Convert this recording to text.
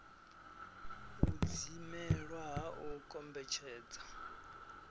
u dzimelwa ha u kombetshedza